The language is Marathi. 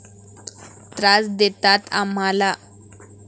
त्रास देतात आम्हाला.